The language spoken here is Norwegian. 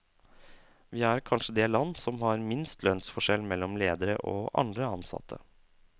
Vi er kanskje det land som har minst lønnsforskjell mellom ledere og andre ansatte.